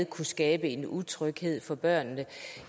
kunne skabe en utryghed for børnene